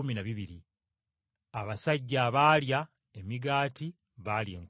Abasajja abaalya emigaati baali enkumi ttaano.